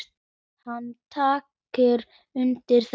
Hann tekur undir þetta.